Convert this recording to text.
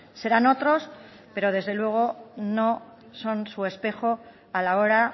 serán otros pero desde luego no son su espejo a la hora